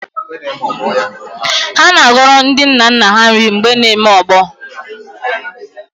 Ha na-agọrọ ndi nna nna ha nri mgbe na-eme ọgbọ